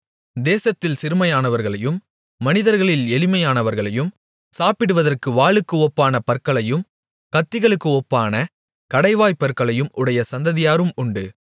தேசத்தில் சிறுமையானவர்களையும் மனிதர்களில் எளிமையானவர்களையும் சாப்பிடுவதற்கு வாளுக்கு ஒப்பான பற்களையும் கத்திகளுக்கு ஒப்பான கடைவாய்ப்பற்களையும் உடைய சந்ததியாரும் உண்டு